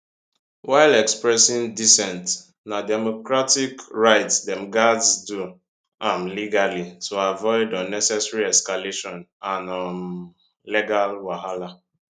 while expressing dissent na democratic right dem gatz do am legally to avoid unnecessary escalation and um legal wahala